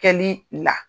Kɛli la